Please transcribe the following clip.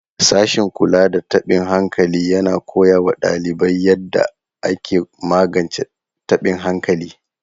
Sashen kula da tabin hankali yana koya wa ɗalibai yadda ake magance taɓin hankali.